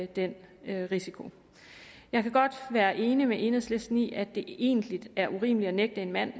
den risiko jeg kan godt være enig med enhedslisten i at det egentlig er urimeligt at nægte en mand